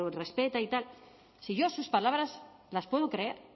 respeta y tal si yo sus palabras las puedo creer